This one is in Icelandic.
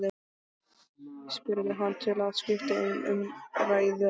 spurði hann til að skipta um umræðuefni.